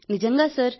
నిజంగా సార్